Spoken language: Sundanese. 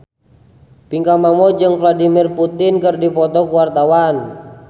Pinkan Mambo jeung Vladimir Putin keur dipoto ku wartawan